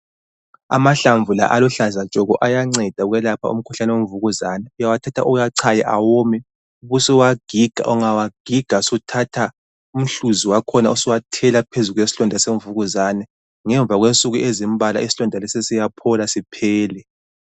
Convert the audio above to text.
Amahlamvu la aluhlaza tshoko, ayanceda ukwelapha umkhuhlane wemvukuzane. Uyawathatha uwachaye awome, ubusuwagiga. Ungawagiga, suthatha umhluzi wakhona usuwathela phezu kwesilonda semvukuzane. Ngemva kwensuku ezimbalwa isilonda lesi siyaphola siphele.